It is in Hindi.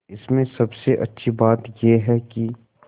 इसमें सबसे अच्छी बात यह है कि